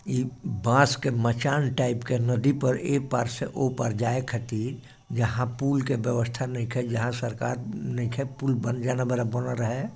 ये बास के मचान टाइप का नदी पर इ पार से पुल पार जाए खातिर यहा पुल की व्यवस्था नहीं ख्याति सरकार नहीं ख्य पुल बन जाना बराबर है।